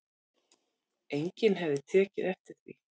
Enginn hefði tekið eftir því